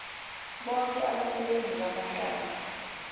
boke abasebenzi bamahlathi